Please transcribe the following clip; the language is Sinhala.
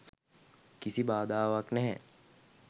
කිසි බාධාවක් නැහැ.